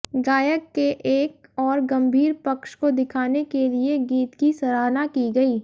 गायक के एक और गंभीर पक्ष को दिखाने के लिए गीत की सराहना की गई